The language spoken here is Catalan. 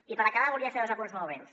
i per acabar volia fer dos apunts molt breus